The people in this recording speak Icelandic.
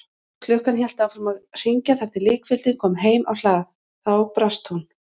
Klukkan hélt áfram að hringja þar til líkfylgdin kom heim á hlað, þá brast hún.